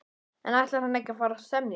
En ætlar hann ekki að fara að semja?